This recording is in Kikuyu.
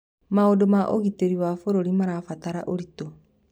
Maũndũ ma ũgitĩri wa bũrũri marabatara ũritũ.